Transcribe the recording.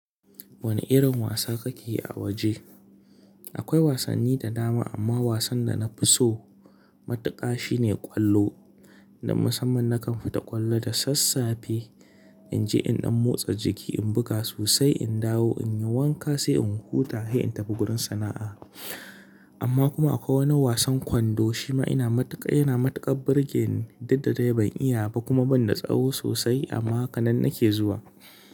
Wani irin wasa kake yi a waje? Akwai wasanni da dama amma wasan da na fi so matuƙa shine ƙwallo. Da musamman na kan fita ƙwallo da sassafe in je in ɗan motsa jiki, in buga sosai, in dawo in yi wanka sai in huta sai in tafi gurin sana'a. Amma kuma akwai wani wasan kwando shima ina matuƙa, yana matuƙar birge ni duk da dai ban iyaba kuma ban da tsawo sosai amma haka nan nake zuwa.